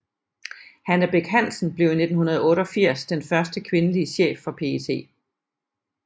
Hanne Bech Hansen blev i 1988 den første kvindelig chef for PET